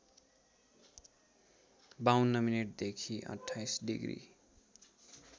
५२ मिनेटदेखि २८ डिग्री